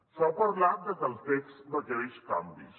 s’ha parlat de que el text requereix canvis